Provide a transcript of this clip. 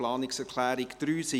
Planungserklärung 3, SiK: